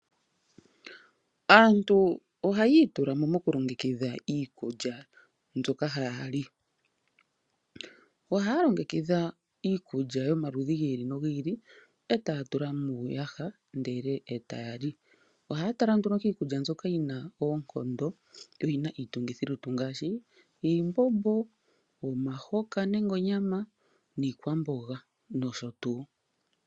Aantu ohaya itula mo mokulongekidha iikulya mbyoka haya li. Ohaya longekidha iikulya yomaludhi gi ili nogi ili e taya tula muuyaha ndele taya li. Ohaya tala nduno kiikulya mbyoka yi na oonkondo yo yi na iitungithilutu ngaashi iimbombo, omihoka nenge onyama, iikwamboga nosho tuu.